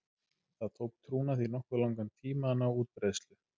Það tók trúna því nokkuð langan tíma að ná útbreiðslu.